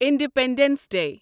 independence day